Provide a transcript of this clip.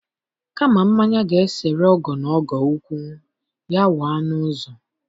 Kama mmanya ga-esere ọgọ na ọgọ okwu, ya waa n'ụzọ